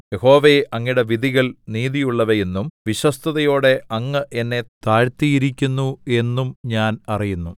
യഹോവേ അങ്ങയുടെ വിധികൾ നീതിയുള്ളവയെന്നും വിശ്വസ്തതയോടെ അങ്ങ് എന്നെ താഴ്ത്തിയിരിക്കുന്നു എന്നും ഞാൻ അറിയുന്നു